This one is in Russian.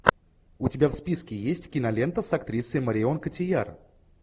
у тебя в списке есть кинолента с актрисой марион котийяр